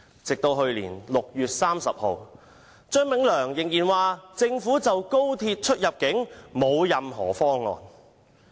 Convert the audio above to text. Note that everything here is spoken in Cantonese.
直至去年6月30日，張炳良仍然說政府就高鐵出入境的安排沒有任何方案。